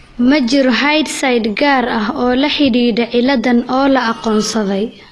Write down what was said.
Ma jiro hidde-side gaar ah oo la xidhiidha cilladaan oo la aqoonsaday.